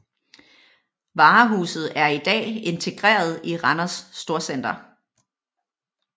Varehuset er i dag integreret i Randers Storcenter